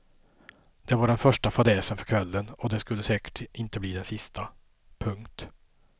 Det var den första fadäsen för kvällen och det skulle säkert inte bli den sista. punkt